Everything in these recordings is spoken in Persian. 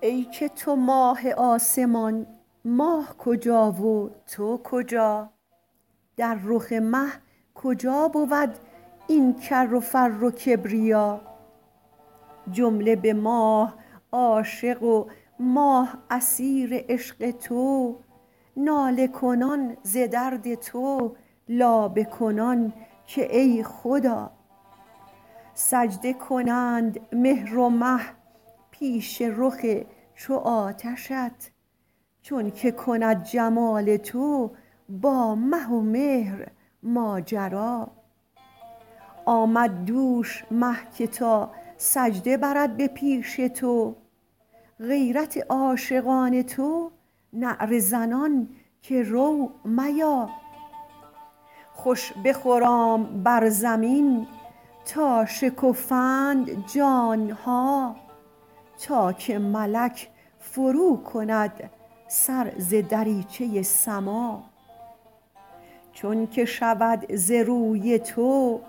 ای که تو ماه آسمان ماه کجا و تو کجا در رخ مه کجا بود این کر و فر و کبریا جمله به ماه عاشق و ماه اسیر عشق تو ناله کنان ز درد تو لابه کنان که ای خدا سجده کنند مهر و مه پیش رخ چو آتشت چونک کند جمال تو با مه و مهر ماجرا آمد دوش مه که تا سجده برد به پیش تو غیرت عاشقان تو نعره زنان که رو میا خوش بخرام بر زمین تا شکفند جان ها تا که ملک فروکند سر ز دریچه سما چون که شود ز روی تو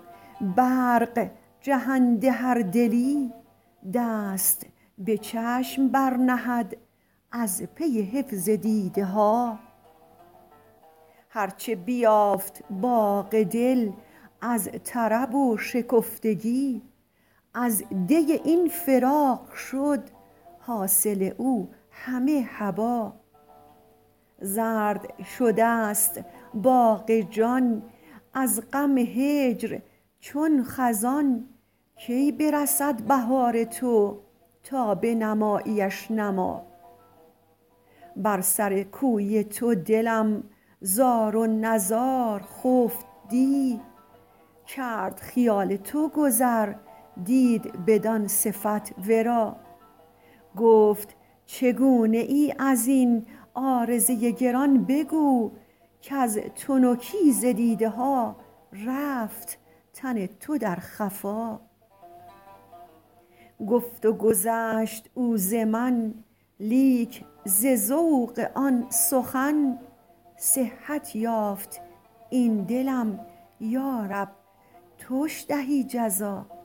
برق جهنده هر دلی دست به چشم برنهد از پی حفظ دیده ها هر چه بیافت باغ دل از طرب و شکفتگی از دی این فراق شد حاصل او همه هبا زرد شده ست باغ جان از غم هجر چون خزان کی برسد بهار تو تا بنماییش نما بر سر کوی تو دلم زار و نزار خفت دی کرد خیال تو گذر دید بدان صفت ورا گفت چگونه ای از این عارضه گران بگو کز تنکی ز دیده ها رفت تن تو در خفا گفت و گذشت او ز من لیک ز ذوق آن سخن صحت یافت این دلم یا رب توش دهی جزا